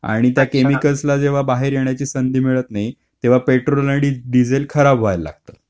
आणि म्हणजे त्या केमिकल्स ला जेव्हा बाहेर येण्याची संधी मिळत नाही तेव्हा पेट्रोल आणि डिझेल खराब व्हायला लागतं.